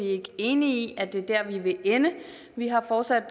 ikke enige i at det er dér vi vil ende vi har fortsat